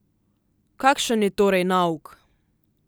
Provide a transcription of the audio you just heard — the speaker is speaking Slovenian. Kakšen je torej nauk?